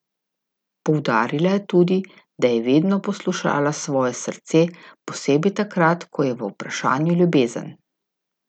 Poudarila je tudi, da je vedno poslušala svoje srce, posebej takrat, ko je v vprašanju ljubezen.